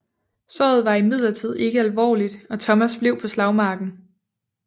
Såret var imidlertid ikke alvorligt og Thomas blev på slagmarken